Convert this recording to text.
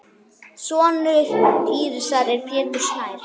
Sonur Írisar er Pétur Snær.